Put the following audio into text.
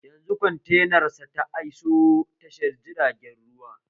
Yanzu kwantena sa ta iso tashar jiragen ruwa